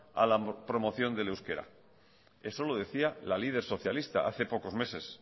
a la promoción del euskera eso lo decía la líder socialista hace poco meses